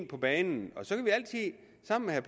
på banen så